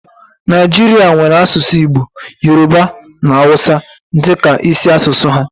Naijirịa nwèrè asụsụ Igbo, Yoroba na Awụsa dịka isi asụsụ ha